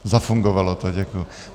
Zafungovalo to, děkuji.